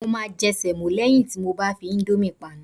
Mo máa jẹ sẹ̀mọ́ lẹ́yìn tí mo bá fi íńdómì panu.